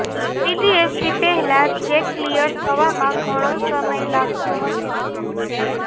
સીટીએસથી પહેલાં check clear થવામાં ઘણો સમય લાગતો હતો